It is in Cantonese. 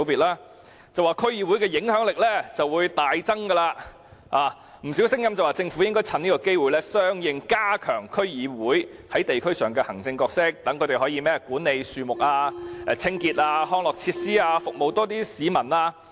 當局指此安排會令區議會的影響力大增，有不少聲音表示政府應趁此機會相應地加強區議會在地區上的行政角色，讓他們可以管理樹木、清潔、康樂設施等，服務較多市民。